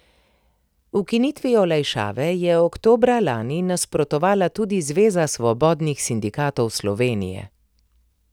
Ukinitvi olajšave je oktobra lani nasprotovala tudi Zveza svobodnih sindikatov Slovenije.